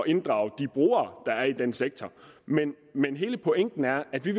inddrage de brugere der er i den sektor men men hele pointen er at vi